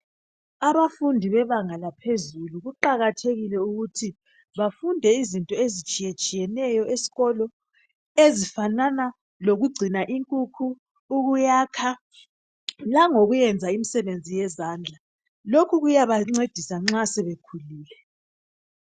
Abafundi bebanga laphezulu kuqakathekile ukuthi bafunde izinto ezitshiye tshiyeneyo esikolo ezifanana lokugcina inkukhu, ukuyakha langokuyenza imisebenzi yezandla lokhu kuyabancedisa nxa sebekhulile